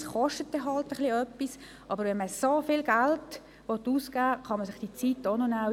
Natürlich kostet dies etwas, aber wenn man so viel Geld ausgeben will, kann man sich diese Zeit auch noch nehmen.